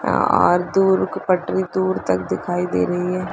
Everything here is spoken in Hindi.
और दूर की पटरी दूर तक दिखाई दे रही है।